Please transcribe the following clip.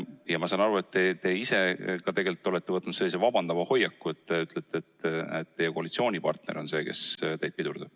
Ja ma saan aru, et te ise ka olete võtnud sellise vabandava hoiaku ja ütlete, et teie koalitsioonipartner on see, kes teid pidurdab.